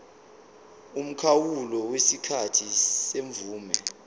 umkhawulo wesikhathi semvume